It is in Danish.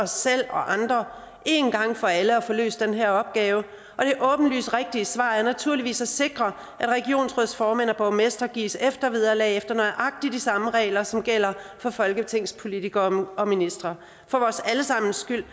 selv og andre en gang for alle at få løst den her opgave og det åbenlyst rigtige svar er naturligvis at sikre at regionsrådsformænd og borgmestre gives eftervederlag efter nøjagtig de samme regler som gælder for folketingspolitikere og ministre for vores alle sammens skyld